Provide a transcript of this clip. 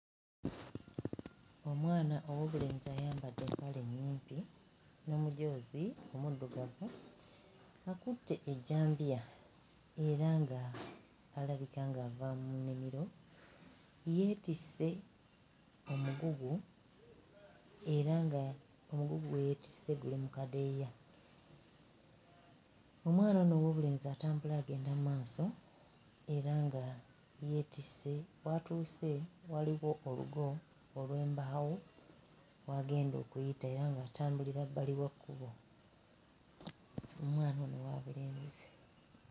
Omwana ow'obulenzi ayambadde empale ennyimpi n'omujoozi omuddugavu, akutte ejjambiya era ng'alabika ng'ava mu nnimiro. Yeetisse omugugu era ng'omugugu gwe yeetisse guli mu kadeeya. Omwana ono ow'obulenzi atambula agenda mu maaso era nga yeetisse w'atuuse waliwo olugo olw'embaawo w'agenda okuyita era ng'atambulira bbali wa kkubo. Omwana ono wa bulenzi.